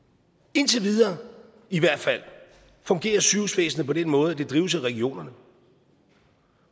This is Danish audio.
indtil videre i hvert fald fungerer sygehusvæsenet på den måde at det drives af regionerne